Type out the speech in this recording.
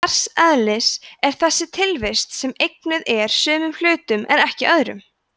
hvers eðlis er þessi tilvist sem eignuð er sumum hlutum en ekki öðrum